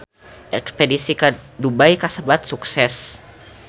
Espedisi ka Dubai kasebat sukses